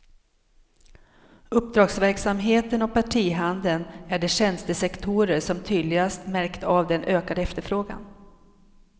Uppdragsverksamheten och partihandeln är de tjänstesektorer som tydligast märkt av den ökade efterfrågan.